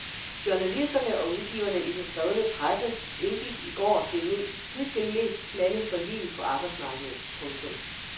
Journalisterne og udgiverne i den skrevne presse indgik i går det hidtil mest smalle forlig på arbejdsmarkedet. punktum